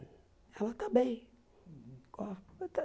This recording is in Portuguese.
Ela está bem. Oh está